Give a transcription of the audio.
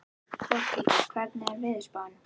Borghildur, hvernig er veðurspáin?